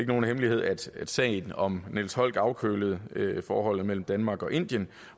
nogen hemmelighed at at sagen om niels holck afkølede forholdet mellem danmark og indien